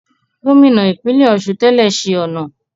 Gómìnà ìpínlẹ̀ Ọ̀ṣun tẹ́lẹ̀ ṣe ọ̀nà